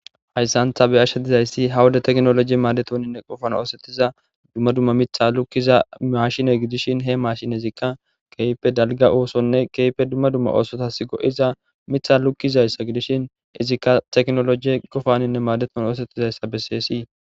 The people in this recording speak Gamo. hayssan ta be'ashsha dizayssi hawuda teknolojie maadetoninne qofan oosettiza dumma dumma mitha lukkiza mashine gidishin he mashinezikka keype dalga oosonne keype dumma dumma oosotas go7iza mitha lukkizayssa gidishin izikka teknolojie gofaninne maadeton oosettizayssa besseesii